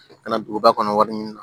Kana duguba kɔnɔ wari ɲini